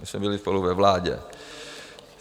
My jsme byli spolu ve vládě.